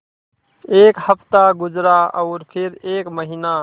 एक हफ़्ता गुज़रा और फिर एक महीना